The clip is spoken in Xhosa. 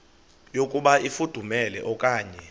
yokuba ifudumele okanye